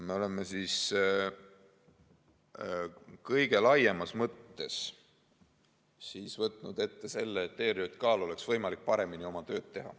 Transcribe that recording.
Me oleme kõige laiemas mõttes võtnud ette selle, et ERJK‑l oleks võimalik paremini oma tööd teha.